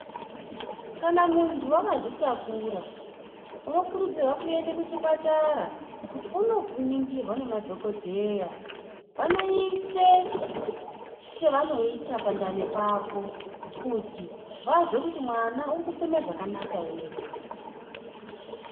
Kana muntu akazvitakura unokurudzirwa kuende kuchipatara kuti unoningirwa nemadhokodheya vanoise chavanoisa pandani pako kuti vazwe kuti mwana uri kufema zvakanaka ere.